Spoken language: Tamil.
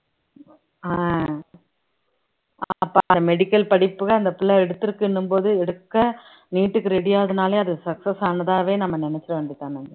அஹ் medical படிப்புக்கு அந்த பிள்ளை எடுத்திருக்குன்னும்போது எடுக்க NEET க்கு ready ஆகுதுனாலே அது success ஆனதாவே நம்ம நினைச்சிட வேண்டியதுதான்